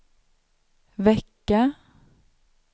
vecka